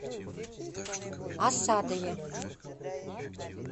асадове